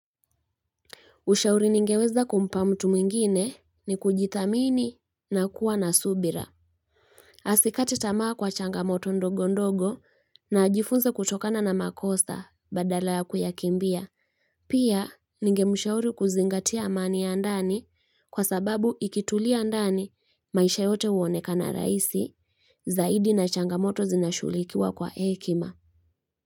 Ushauri ningeweza kumpa mtu mwingine ni kujithamini na kuwa na subira. Asikate tamaa kwa changamoto ndogo ndogo na ajifunze kutokana na makosa badala ya kuyakimbia. Pia ningemshauri kuzingatia amani ya ndani kwa sababu ikitulia ndani maisha yote huoneka na rahisi zaidi na changamoto zinashughulikiwa kwa hekima.